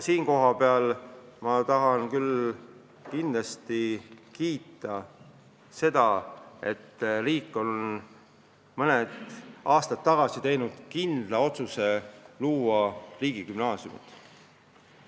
Siinkohal ma tahan kindlasti kiita seda, et riik on mõni aasta tagasi teinud kindla otsuse luua riigigümnaasiumid.